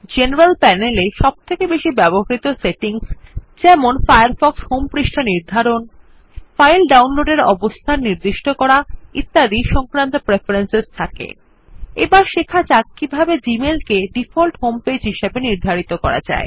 general panel এ সবথেকে বেশি ব্যবহৃত সেটিংস যেমন ফায়ারফক্স হোম পৃষ্ঠা নির্ধারন ফাইল ডাউনলোডের অবস্থান নির্দিষ্ট করা ইত্যাদি সংক্রান্ত প্রেফারেন্স উপস্থিত থাকে160 এবার শেখা যাক কিভাবে জিমেইল কে ডিফল্ট হোম পেজ হিসেবে নির্ধারিত করা যায়